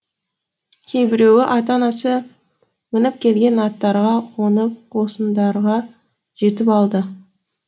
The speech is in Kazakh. кейбіреуі ата анасы мініп келген аттарға қонып қосындарға жетіп алды